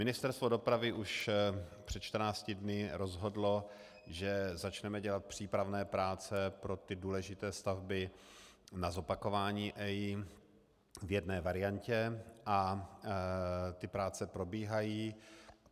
Ministerstvo dopravy už před 14 dny rozhodlo, že začneme dělat přípravné práce pro ty důležité stavby na zopakování EIA v jedné variantě a ty práce probíhají.